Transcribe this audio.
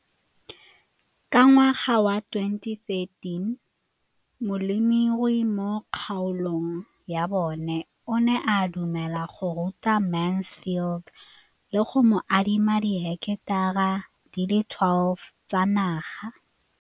Ka ngwaga wa 2013, molemirui mo kgaolong ya bona o ne a dumela go ruta Mansfield le go mo adima di heketara di le 12 tsa naga.